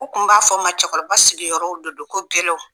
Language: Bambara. U tun b'a fɔ ma cɛkɔrɔba sigiyɔrɔw de don ko gɛlɛw